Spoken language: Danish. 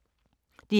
DR K